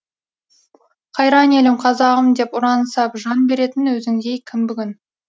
қайран елім қазағым деп ұран сап жан беретін өзіңдей кім бүгін